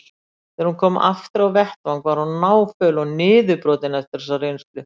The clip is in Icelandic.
Þegar hún kom aftur á vettvang var hún náföl og niðurbrotin eftir þessa reynslu.